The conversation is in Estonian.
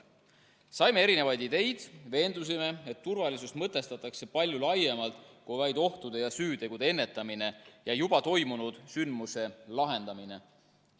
Saime erinevaid ideid, veendusime, et turvalisust mõtestatakse palju laiemalt kui vaid ohtude ja süütegude ennetamine ja juba toimunud sündmuste lahendamine.